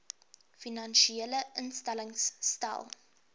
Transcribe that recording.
finansiële instellings stel